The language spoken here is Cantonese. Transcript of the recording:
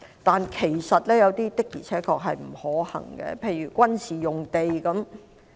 但是，有些的確並不可行，例如軍事用地。